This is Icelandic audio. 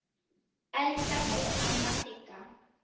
Elska þig, amma Sigga.